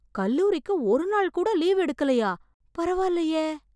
கல்லூரிக்கு ஒரு நாள் கூட லீவு எடுக்கலயா, பரவால்லயே!